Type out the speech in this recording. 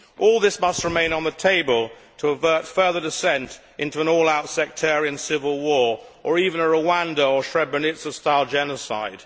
All this must remain on the table to avert further descent into an all out sectarian civil war, or even Rwanda or Srebrenica style genocide.